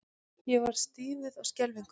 Ég varð stífur af skelfingu.